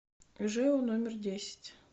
жэу номер десять